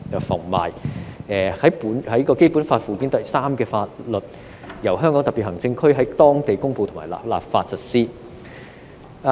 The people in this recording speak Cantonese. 凡列於本法附件三之法律，由香港特別行政區在當地公布或立法實施。